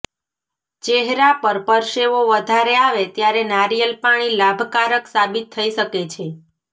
ચેહરા પર પરસેવો વધારે આવે ત્યારે નારીયેલ પાણી લાભકારક સાબિત થઇ શકે છે